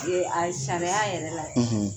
Ee a sariya yɛrɛ la